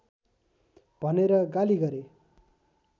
भनेर गाली गरे